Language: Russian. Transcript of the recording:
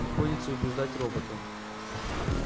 приходится убеждать робота